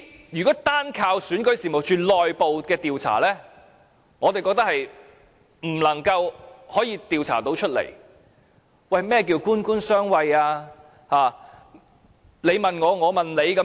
如果單靠選舉事務處的內部調查，我們認為無法調查得到任何結果；何謂"官官相衞"，對嗎？